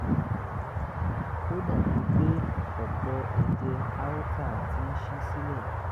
ó dàbí pé òpó ẹ̀jẹ̀ aorta ti ń ṣí sílẹ̀